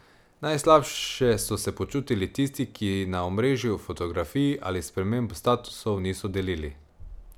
Najslabše so se počutili tisti, ki na omrežju fotografij ali sprememb statusov niso delili.